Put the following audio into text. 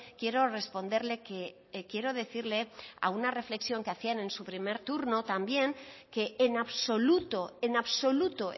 quiero responderle que quiero decirle a una reflexión que hacía en su primer turno también que en absoluto en absoluto